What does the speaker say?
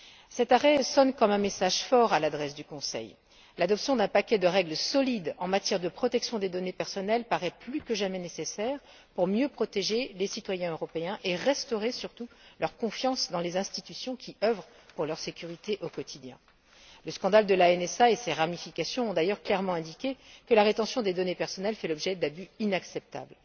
Cet arrêt sonne comme un message fort à l'adresse du Conseil. L'adoption d'un paquet de règles solides en matière de protection des données personnelles paraît plus que jamais nécessaire pour mieux protéger les citoyens européens et restaurer surtout leur confiance dans les institutions qui œuvrent pour leur sécurité au quotidien. Le scandale de la NSA et ses ramifications ont d'ailleurs clairement indiqué que la rétention des données personnelles fait l'objet d'abus inacceptables.